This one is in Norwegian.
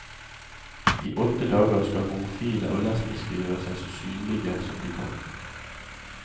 I åtte dager skal homofile og lesbiske gjøre seg så synlige som de kan.